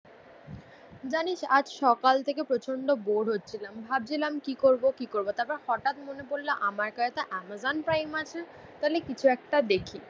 জানিস আজ সকাল থেকে প্রচণ্ড বোর হচ্ছিলাম ভাবছিলাম কি করব কি করব তারপর হঠাৎ মনে পড়ল আমার কাছে তোর আমাজন প্রাইম আছে তালে কিছু একটা দেখি